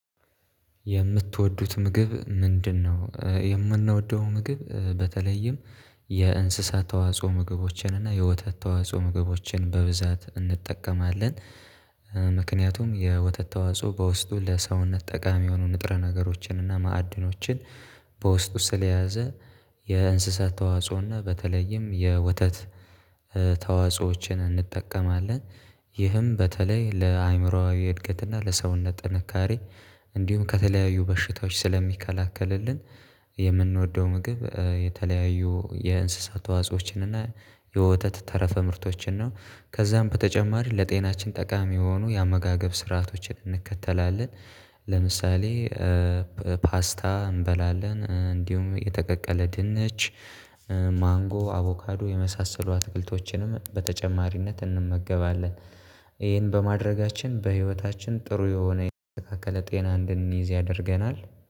የምትወዱት ምግብ ምንድነው? የምንወደው ምግብ በተለይም የእንስሳት ተዋጽኦ ምግቦችን እና የወተት ተዋጽኦ ምግቦችን በብዛት እንጠቀማለን፤። ምክንያቱም የወተት ተዋጽኦ በውስጡ ለሰውነት ጠቃሚ የሆኑ ንጥረ ነገሮችን እና ማዕድኖችን በውስጡ ስለያዘ የእንስሳት ተዋጽኦና በተለይም የወተት ተዋጽኦዎችን እንጠቀማለን ይህም በተለይ ለአእምሮአዊ እድገት እና ለሰውነት ጥንካሬ እንዲሁም ከተለያዩ በሽታዎች ስለሚከላከልልን። የምንወደው ምግብ የተለያዩ የእንስሳት ተዋጾዎችን እና የወተት ተረፈ ምርቶችን ነው ከዛም በተጨማሪ ለጤናችን ጠቃሚ የሆኑ የአመጋገብ ስርዓቶችን እንከተላለን። ለምሳሌ ፓስታ እንበላለን እንዲሁም የተቀቀለ ድንች ማንጎ አቮካዶ የመሳሰሉ አትክልቶችንም በተጨማሪነት እንመገባለን። ይሄን በማድረጋችን በህይወታችን ጥሩ የሆነ የተስተካከለ ጤና እንድንይዝ ያደርገናል